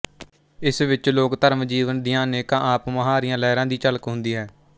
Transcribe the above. ਇਸ ਵਿੱਚ ਲੋਕ ਧਰਮ ਜੀਵਨ ਦੀਆਂ ਅਨੇਕਾਂ ਆਪ ਮੁਹਾਰੀਆਂ ਲਹਿਰਾਂ ਦੀ ਝਲਕ ਹੁੰਦੀ ਹੈ